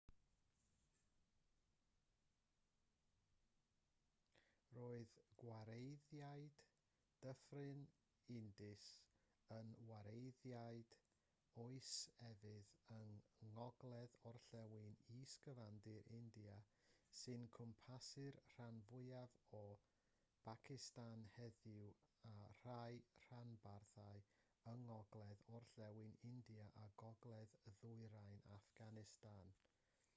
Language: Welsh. roedd gwareiddiad dyffryn indus yn wareiddiad oes efydd yng ngogledd-orllewin is-gyfandir india sy'n cwmpasu'r rhan fwyaf o bacistan heddiw a rhai rhanbarthau yng ngogledd-orllewin india a gogledd-ddwyrain affganistan